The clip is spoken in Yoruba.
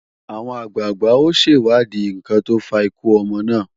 Àwọn àgbàgbà ó ṣèwádìí ǹkan tó fa ikú ọmọ náà